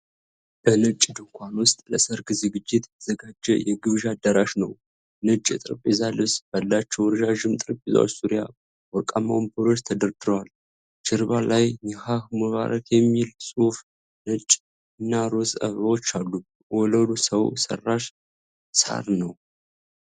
በነጭ ድንኳን ውስጥ ለሠርግ ዝግጅት የተዘጋጀ የግብዣ አዳራሽ ነው። ነጭ የጠረጴዛ ልብስ ባላቸው ረዣዥም ጠረጴዛዎች ዙሪያ ወርቃማ ወንበሮች ተደርድረዋል። ጀርባ ላይ 'ኒካህ ሙባረክ' የሚል ጽሑፍና ነጭ እና ሮዝ አበባዎች አሉ። ወለሉ ሰው ሠራሽ ሣር ነው።